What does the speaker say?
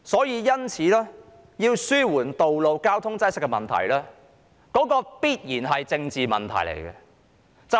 因此，要紓緩道路交通擠塞的問題，這必然是一個政治問題。